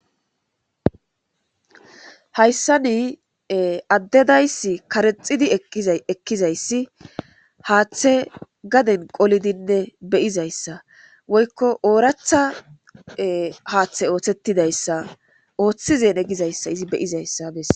Hayssa ni addedayss karexidi ekkizayssi haaththe gaden qolidinne beyizayssa woykko ooratha haaththe ooththettidayssa ooththizene gizayssa izi beyizayssa bess.